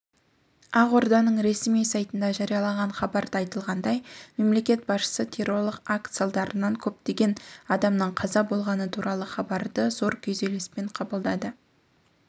ақорданың ресми сайтында жарияланған хабарда айтылғандай мемлекет басшысы террорлық акт салдарынан көптеген адамның қаза болғаны туралы хабарды зор күйзеліспен қабылдады